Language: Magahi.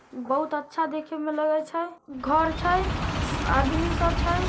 बहुत अच्छा देखेमें लगय छय घर छय आदमी सब छय।